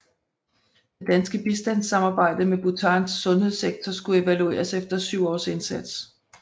Det danske bistandssamarbejde med Bhutans sundhedssektor skulle evalueres efter 7 års indsats